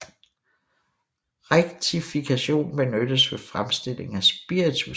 Rektifikation benyttes ved fremstilling af spiritus